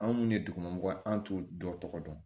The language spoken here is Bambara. Anw minnu ye dugumɔgɔ ye an t'u dɔ tɔgɔ dɔn